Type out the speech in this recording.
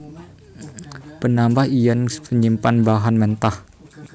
Penambangan lan penyimpanan bahan mentah